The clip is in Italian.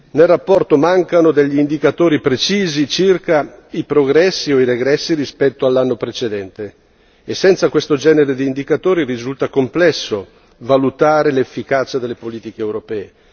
Nel rapporto mancano degli indicatori precisi circa i progressi o i regressi rispetto all'anno precedente, e senza questo genere di indicatori risulta complesso valutare l'efficacia delle politiche europee.